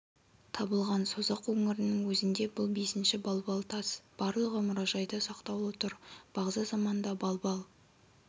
табылған созақ өңірінің өзінде бұл бесінші балбал тас барлығы мұражайда сақтаулы тұр бағзы заманда балбал